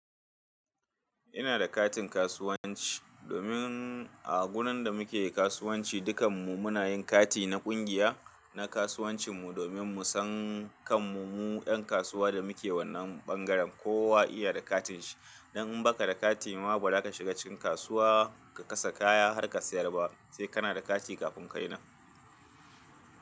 Ina da katin kasuwanci, domin a gurin da muke kasuwanci dukan mu muna yin kati na kungiya, na kasuwancin mu domin mu san kan mu mu yan kasuwa da muke wannan bangaren kowa iya da katin shi. Dan in baka da kati ma ba za ka shiga cikin kasuwa ka kasa kaya har ka sayar ba. Sai kana da kati kafin ka yi nan.